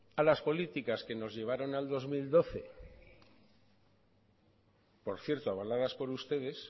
a las políticas que nos llevaron al dos mil doce por cierto avaladas por ustedes